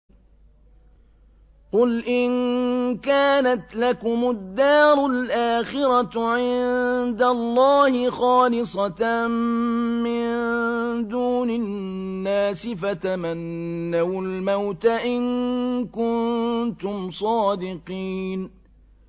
قُلْ إِن كَانَتْ لَكُمُ الدَّارُ الْآخِرَةُ عِندَ اللَّهِ خَالِصَةً مِّن دُونِ النَّاسِ فَتَمَنَّوُا الْمَوْتَ إِن كُنتُمْ صَادِقِينَ